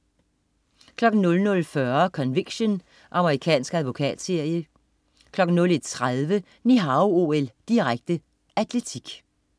00.40 Conviction. Amerikansk advokatserie 01.30 Ni Hao OL, direkte. Atletik